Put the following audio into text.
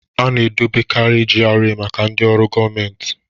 Ana edobekarị GRA maka ndị ọrụ gọọmentị